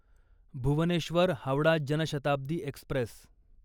Bhubaneswar Howrah Jan Shatabdi Express